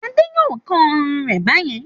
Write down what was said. Ade yóò kán ọrùn rẹ̀ bá yẹn.